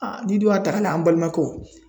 n'i dun y'a ta ka an balimakɛw